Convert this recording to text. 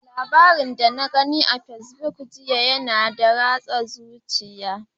Labarin da na gani a Facebook jiya yana da ratsa zuciya.